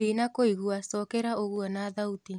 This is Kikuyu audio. ndĩnakuigwa cokera uguo na thaũtĩ